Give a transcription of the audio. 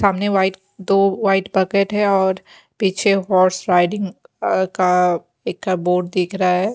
सामने व्हाइट दो white bucket है और पीछे हॉर्स राइडिंग आ का इक बोर्ड देख रहा है।